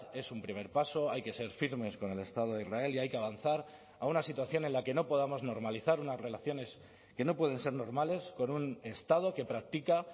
es un primer paso hay que ser firmes con el estado de israel y hay que avanzar a una situación en la que no podamos normalizar unas relaciones que no pueden ser normales con un estado que practica